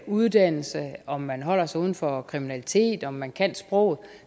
uddanner sig om man holder sig uden for kriminalitet om man kan sproget